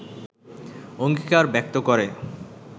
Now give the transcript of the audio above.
অঙ্গীকার ব্যক্ত করে